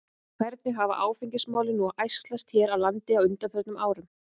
En hvernig hafa áfengismálin nú æxlast hér á landi á undanförnum árum?